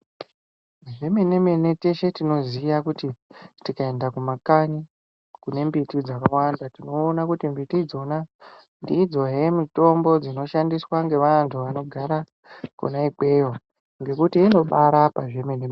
Zvemene-mene teshe tinoziya kuti tikaenda kumakanyi kune mbiti dzakawanda. Tinoona kuti mbiti idzona ndidzohe mitombo dzinoshandiswa ngevantu vanogara kona ikweyo ngekuti inobarapa zvemene-mene.